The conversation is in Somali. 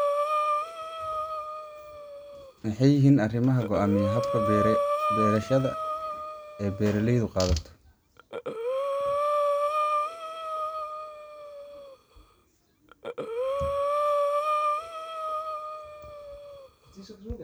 Maxey yihiin arrimaha goaamiya habkaa beerashada ee beeralayda qaato.